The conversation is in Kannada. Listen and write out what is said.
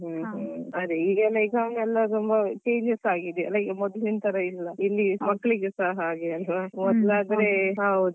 ಹ್ಮ್ ಹ್ಮ್ ಅದೇ ಈಗೆಲ್ಲ ಈಗ exam ಎಲ್ಲ ತುಂಬಾ changes ಆಗಿದೆ ಅಲ್ಲ ಈಗ ಮೊದಲಿನ ತರ ಇಲ್ಲ ಇಲ್ಲಿ ಮಕ್ಕಳಿಗ ಸ ಹಾಗೆ ಅಲ್ವಾ.